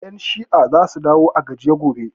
Ƴan shi'an za su dawo a gajiye gobe